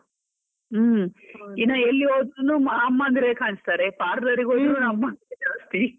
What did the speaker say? ಹ್ಮ್, ಇನ್ ಎಲ್ಲಿ ಹೋದ್ರು ಅಮ್ಮನಿದ್ರೆ ಕಾಣಿಸ್ತಾರೆ. parlour ಗೆ ಹೋದ್ರು ಅಮ್ಮಂದ್ರೆ ಜಾಸ್ತಿ .